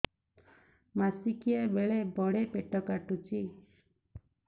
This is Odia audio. ମାସିକିଆ ବେଳେ ବଡେ ପେଟ କାଟୁଚି